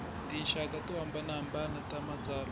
tinxaka to hambanahambana ta matsalwa